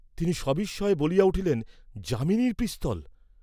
তিনি সবিস্ময়ে বলিয়া উঠিলেন, ‘যামিনীর পিস্তল!